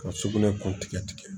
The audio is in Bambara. Ka sugunɛ kun tigɛ tigɛ